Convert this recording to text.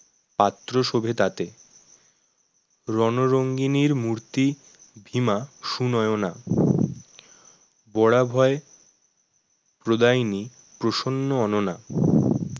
পাত্র শোভে তাতে রণরঙ্গিনীর মূর্তি ভীমা সুনয়না বরাভয় প্রদায়িনী প্রসন্ন অননা